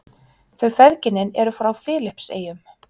Þau feðginin eru frá Filippseyjum.